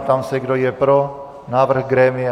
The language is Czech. Ptám se, kdo je pro návrh grémia.